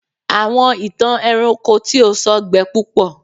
àwọn ìtàn ẹranko tí o sọ gbẹ púpọ